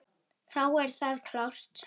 Þá er það klárt.